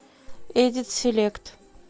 эдит селект